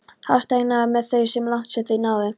Hæstánægðir með þau svo langt sem þau náðu.